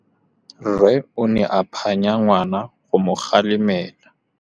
Rre o ne a phanya ngwana go mo galemela.